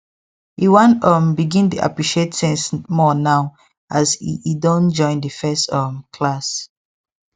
e wan um begin dey appreciate things more now as e e don join the first um class